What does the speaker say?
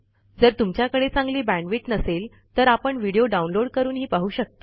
जर तुमच्याकडे चांगली बॅण्डविड्थ नसेल तर आपण व्हिडिओ डाउनलोड करूनही पाहू शकता